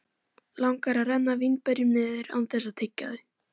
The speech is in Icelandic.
Langar að renna vínberjunum niður án þess að tyggja þau.